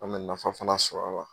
An mɛ nafa fana sɔrɔ a la